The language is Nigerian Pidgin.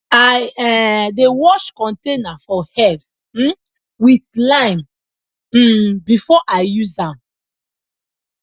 i um dey wash container for herbs um with lime um before i use am